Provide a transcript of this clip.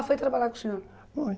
Ela foi trabalhar com o senhor?